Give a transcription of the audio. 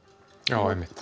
já einmitt